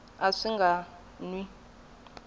a swi nga n wi